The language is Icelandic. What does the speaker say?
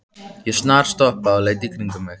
Ég snarstoppaði og leit í kringum mig.